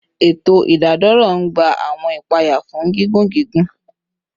Eto idadoro n gba awọn ipaya fun gigun gigun